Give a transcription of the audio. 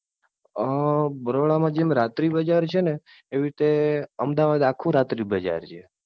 અમ બરોડા મા જેમ રાત્રી બજાર છે ને એવી રીતે અમદાવાદ આખું રાત્રી બજાર છે.